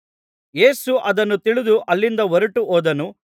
ಯೇಸು ಅದನ್ನು ತಿಳಿದು ಅಲ್ಲಿಂದ ಹೊರಟು ಹೋದನು